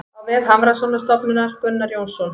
Af vef Hafrannsóknastofnunar Gunnar Jónsson.